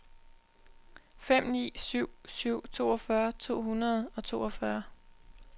fem ni syv syv toogfyrre to hundrede og toogfyrre